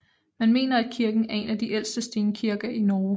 Man mener at kirken er en af de ældste stenkirker i Norge